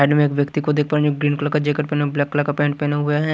एक व्यक्ति को देखा ग्रीन कलर का जैकेट पेहना ब्लैक कलर का पैंट पेहना हुआ है।